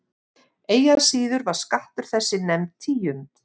Eigi að síður var skattur þessi nefnd tíund.